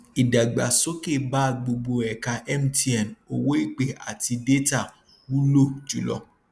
ìdàgbàsókè bá gbogbo ẹka mtn owó ìpè àti détà wúlò jùlọ